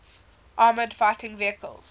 armoured fighting vehicles